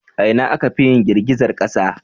A ina akafi yin girgizar kasa?